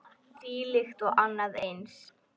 Þvílíkt og annað eins.